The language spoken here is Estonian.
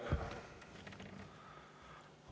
Teie aeg!